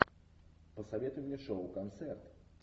посоветуй мне шоу концерт